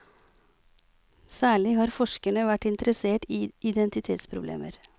Særlig har forskerne vært interessert i identitetsproblemer.